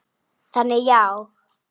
Þannig já.